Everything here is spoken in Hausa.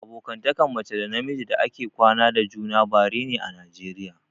Abokantakan mace da na miji da ake kwana da juna bare ne a najeriya